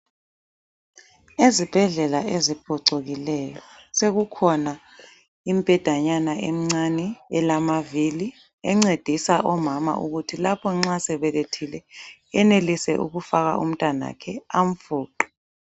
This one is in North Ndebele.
Ezibhedlela eziphucukileyo sokukhuna imbhedanyana emincane elamavili encedisa omama ukuthi lapho nxa esebelethile eyenelise ukufaka umntwana wakhe omncane amfuqe.